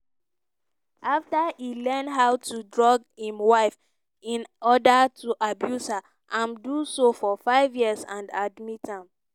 after e learn how to drug im wife in oda to abuse her im do so for five years and admit am.